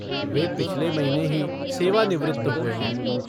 वे पिछले महीने ही सेवानिवृत्त हुए हैं।